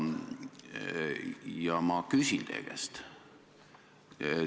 Ja ma küsin teie käest sellist asja.